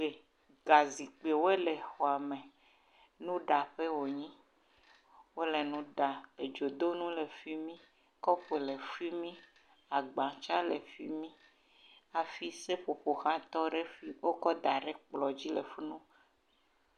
Zikpuiwo le xɔa me, nuɖaƒe wònye, wole nu ɖam, edzonu le fi mi, kɔpo le fi mi, agba tsɛ le fi mi hafi seƒoƒo ha tɔ ɖe, wokɔ da ɖe ekplɔ dzi le fi ma.